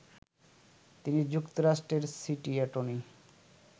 তিনি যুক্তরাষ্ট্রের city attorney